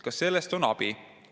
Kas sellest on abi?